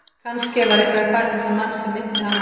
Kannske var eitthvað í fari þessa manns sem minnti hann á